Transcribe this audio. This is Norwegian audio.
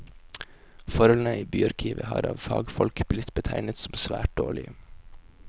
Forholdene i byarkivet har av fagfolk blitt betegnet som svært dårlige.